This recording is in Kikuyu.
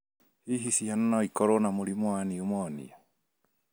Hihi ciana no ikorũo na mũrimũ wa pneumonia?